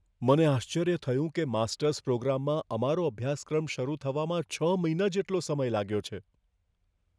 મને આશ્ચર્ય થયું કે માસ્ટર્સ પ્રોગ્રામમાં અમારો અભ્યાસક્રમ શરૂ થવામાં છ મહિના જેટલો સમય લાગ્યો છે.